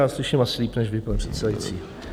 Já slyším asi líp než vy, pane předsedající.